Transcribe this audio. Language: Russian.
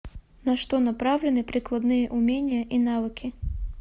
на что направлены прикладные умения и навыки